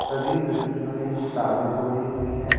सभी लड़कियों ने किताबें खोली हुई हैं.